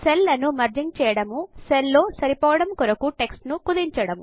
cell లను merging చేయడము cell లో సరిపోవడము కొరకు టెక్స్ట్ ను కుదించడం